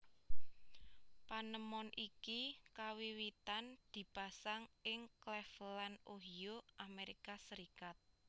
Panemon iki kawiwitan dipasang ing Claveland Ohio Amerika Serikat